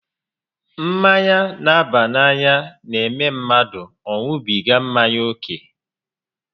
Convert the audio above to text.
Mmanya n'aba n'anya n'eme mmadụ ọ ṅubiga mmanya ókè